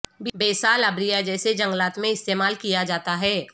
basal area جیسے جنگلات میں استعمال کیا جاتا ہے